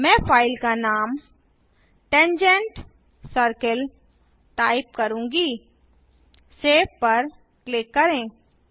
मैं फाइल का नाम tangent सर्किल टाइप करूँगा सेव पर क्लिक करें